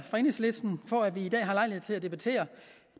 for enhedslisten for at vi i dag har lejlighed til at debattere